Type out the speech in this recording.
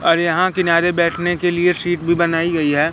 और यहां किनारे बैठने के लिए सीट भी बनाई गई है।